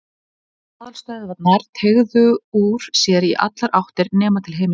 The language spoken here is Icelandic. Og aðalstöðvarnar teygðu úr sér í allar áttir nema til himins.